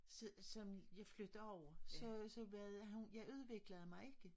Så som jeg flyttede over så så var jeg udviklede mig ikke